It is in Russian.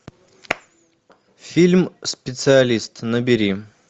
фильм специалист набери